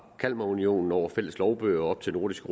kalmarunionen over fælles lovbøger og op til nordisk